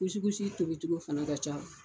tobicogo fɛnɛ ka ca